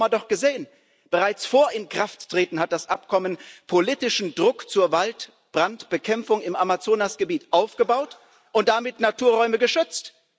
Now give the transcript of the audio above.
Wir haben es im Sommer doch gesehen Bereits vor Inkrafttreten hat das Abkommen politischen Druck zur Waldbrandbekämpfung im Amazonasgebiet aufgebaut und damit Naturräume geschützt.